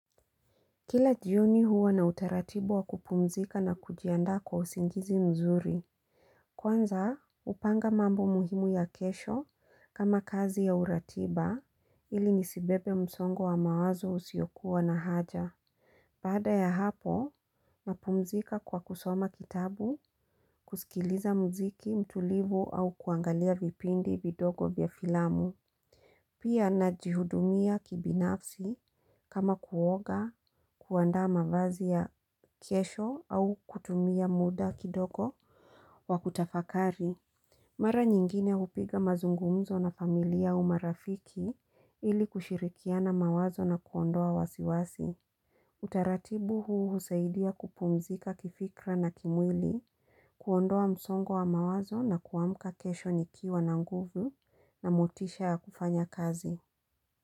Kila jioni huwa nina utaratibu wa kupumzika na kujianda kwa usingizi mzuri. Kwanza, upanga mambo muhimu ya kesho kama kazi au ratiba ili nisibebe msongo wa mawazo usiokuwa na haja. Baada ya hapo, napumzika kwa kusoma kitabu, kusikiliza muziki, mtulivu au kuangalia vipindi vidogo vya filamu. Pia najihudumia kibinafsi kama kuoga kuanda mavazi ya kesho au kutumia muda kidogo wa kutafakari. Mara nyingine upiga mazungumzo na familia au marafiki ili kushirikiana mawazo na kuondoa wasiwasi. Utaratibu huu husaidia kupumzika kifikra na kimwili, kuondoa msongo wa mawazo na kuamka kesho nikiwa na nguvu na motisha ya kufanya kazi.